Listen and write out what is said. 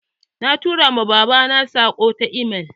Na tura ma babana saƙo ta email